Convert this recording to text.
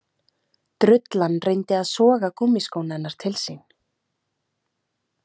Drullan reyndi að soga gúmmískóna hennar til sín.